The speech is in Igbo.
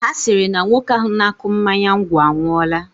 Ha sịrị na nwoke ahụ na-akụ mmanya ngwọ anwụọla